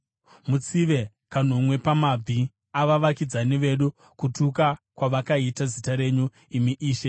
Mutsive kanomwe pamabvi avavakidzani vedu, kutuka kwavakaita zita renyu, imi Ishe.